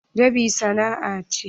Dab'i sana'a ce.